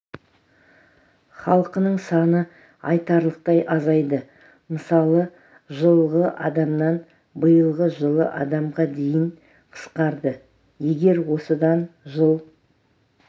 халқының саны айтарлықтай азайды мысалы жылғы адамнан биылғы жылы адамға дейін қысқарды егер осыдан жыл